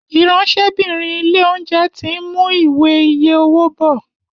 Ìráńṣẹ́bìnrin ilé-oúnjẹ tin mú Ìwé iye owó bó.